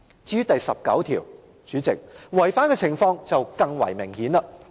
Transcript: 至於第十九條，代理主席，違反的程度更為明顯。